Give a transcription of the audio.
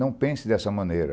Não pense dessa maneira.